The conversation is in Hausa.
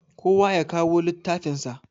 Kowa yakawo littafin sa.